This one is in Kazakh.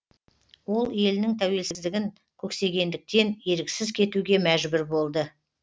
ол елінің тәуелсіздігін көксегендіктен еріксіз кетуге мәжбүр болды